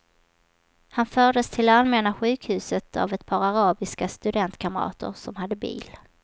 Han fördes till allmänna sjukhuset av ett par arabiska studentkamrater som hade bil.